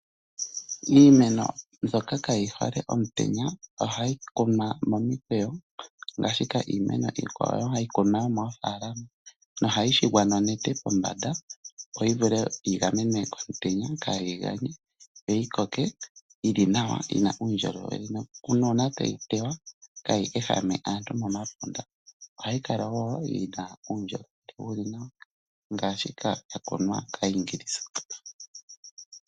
Iimeno mbyoka kayi hole omutenya ohayi kunwa momikweyo ngaashi iimeno iikwawo hayi kunwa yomoofaalama nohayi shigwa nonete pombanda, opo yi vule yi gamenwe komutenya kaayi ganye yo yi koke yi li nawa yi na uundjolowele nuuna tayi teywa kayi ehame aantu momapunda. Ohayi kala wo yi na uundjolowele wu li nawa ngaashika ya kunwa kAayingilisa.